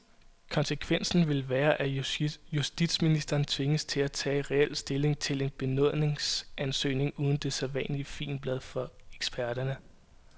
Konsekvensen vil være, at justitsministeren tvinges til at tage reel stilling til en benådningsansøgning uden det sædvanlige figenblad fra eksperterne.